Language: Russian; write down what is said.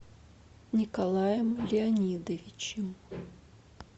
николаем леонидовичем